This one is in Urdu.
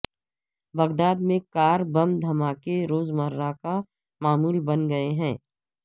بغداد میں کار بم دھماکے روز مرہ کا معمول بن گئے ہیں